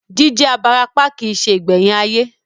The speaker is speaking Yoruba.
Jí jẹ́ abarapá kìí se ìgbẹ̀yìn ayé